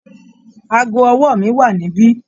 Aago ọwọ́ mi wá níbí